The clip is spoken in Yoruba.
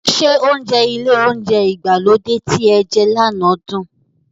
Ṣé oúnjẹ ilé oúnjẹ ìgbàlódé tí ẹ jẹ lànà dùn?